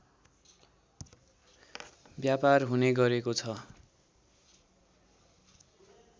व्यापार हुने गरेको छ